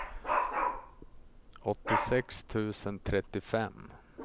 åttiosex tusen trettiofem